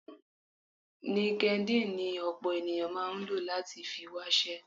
LinkedIn ni ọ̀pọ̀ ènìyàn máa ń lò láti fi wáṣẹ́.